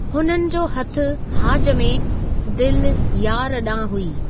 हुननि जो हथु हाज में, दिलि यार ॾांहुं हुई।